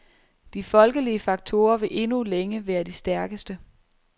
De folkelige faktorer vil endnu længe være de stærkeste.